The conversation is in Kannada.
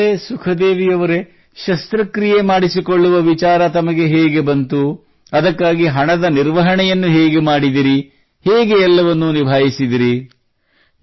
ಹಾಗಾದರೆ ಸುಖದೇವಿ ಅವರೇ ಶಸ್ತ್ರಕ್ರಿಯೆ ಮಾಡಿಸಿಕೊಳ್ಳುವ ವಿಚಾರ ತಮಗೆ ಹೇಗೆ ಬಂತು ಅದಕ್ಕಾಗಿ ಹಣದ ನಿರ್ವಹಣೆಯನ್ನು ಹೇಗೆ ಮಾಡಿದಿರಿ ಹೇಗೆ ಎಲ್ಲವನ್ನೂ ನಿಭಾಯಿಸಿದಿರಿ